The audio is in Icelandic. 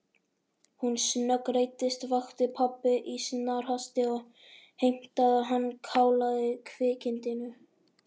Hún snöggreiddist, vakti pabba í snarhasti og heimtaði að hann kálaði kvikindinu.